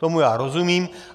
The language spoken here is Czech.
Tomu já rozumím.